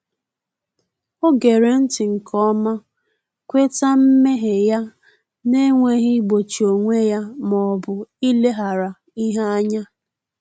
Ọ ghere nti nke ọma, kweta mmehie ya n’enweghị igbochi onwe ya ma ọ bụ ileghara ihe anya